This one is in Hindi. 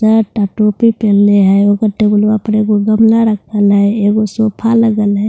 यहाँ सोफा लगल है।